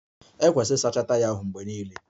E kwesiri ịsacha taya ahụ mgbe niile.